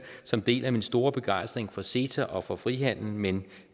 som deler min store begejstring for ceta og for frihandel men